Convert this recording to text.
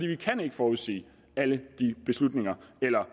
vi kan ikke forudsige alle de